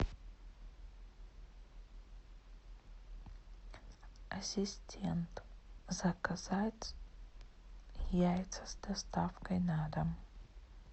ассистент заказать яйца с доставкой на дом